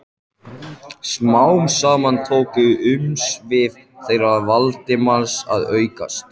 Smám saman tóku umsvif þeirra Valdimars að aukast.